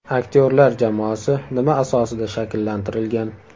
Aktyorlar jamoasi nima asosida shakllantirilgan?